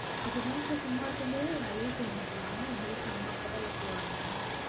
அப்ப வீட்ல சும்மா இருக்கும்போது வேலையே செய்ய மாட்டயா உங்க வீட்ல அம்மா, அப்பாதான் எல்லாம் செய்வாங்களா?